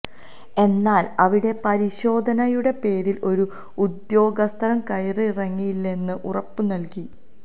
എന്നാല് അവിടെ പരിശോധനയുടെ പേരില് ഒരു ഉദ്യോഗസ്ഥരും കയറിയിറങ്ങില്ലായെന്ന് ഉറപ്പ് നല്കി